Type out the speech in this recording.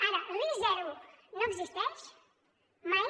ara el risc zero no existeix mai